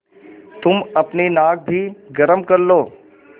तुम अपनी नाक भी गरम कर लो